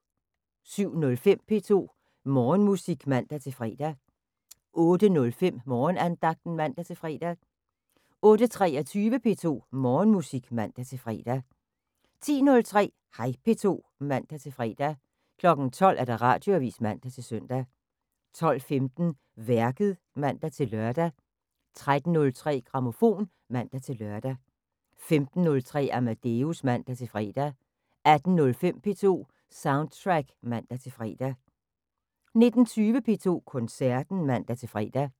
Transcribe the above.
07:05: P2 Morgenmusik (man-fre) 08:05: Morgenandagten (man-fre) 08:23: P2 Morgenmusik (man-fre) 10:03: Hej P2 (man-fre) 12:00: Radioavis (man-søn) 12:15: Værket (man-lør) 13:03: Grammofon (man-lør) 15:03: Amadeus (man-fre) 18:05: P2 Soundtrack (man-fre) 19:20: P2 Koncerten (man-fre)